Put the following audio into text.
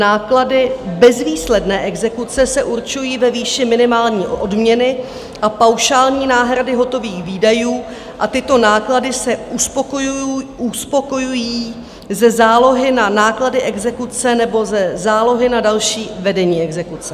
Náklady bezvýsledné exekuce se určují ve výši minimální odměny a paušální náhrady hotových výdajů a tyto náklady se uspokojují ze zálohy na náklady exekuce nebo ze zálohy na další vedení exekuce.